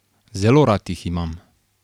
Zelo rad jih imam.